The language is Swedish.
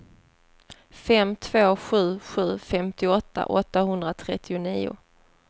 fem två sju sju femtioåtta åttahundratrettionio